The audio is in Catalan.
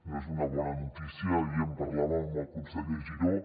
no és una bona notícia ahir en parlàvem amb el conseller giró